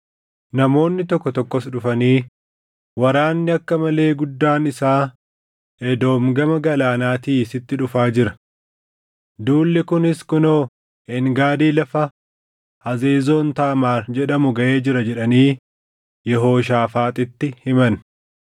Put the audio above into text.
Namoonni tokko tokkos dhufanii, “Waraanni akka malee guddaan isaa Edoom gama Galaanaatii sitti dhufaa jira. Duulli kunis kunoo Een Gaadii lafa Hazezoon Taamaar jedhamu gaʼee jira” jedhanii Yehooshaafaaxitti himan.